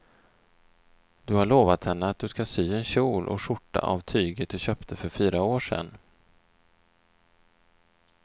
Du har lovat henne att du ska sy en kjol och skjorta av tyget du köpte för fyra år sedan.